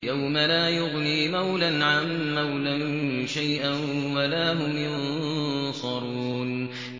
يَوْمَ لَا يُغْنِي مَوْلًى عَن مَّوْلًى شَيْئًا وَلَا هُمْ يُنصَرُونَ